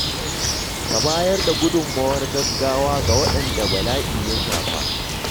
Ka bayar da gudummawar gaggawa ga waɗanda bala’i ya shafa.